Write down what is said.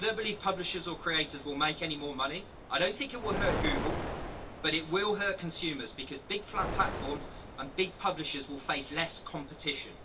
I don't believe publishers or creators will make any more money. I don't think it will hurt Google, but it will hurt consumers because big flat platforms and big publishers will face less competition.